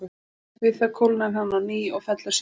Við það kólnar hann á ný og fellur saman.